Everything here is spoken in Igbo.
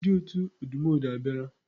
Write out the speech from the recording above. Ndi otu odumodu abiara